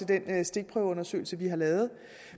den stikprøveundersøgelse vi har lavet